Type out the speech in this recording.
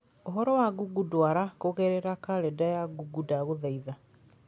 Ũhoro wa Google ndwara kũgerera kalenda ya google ndagũthaitha.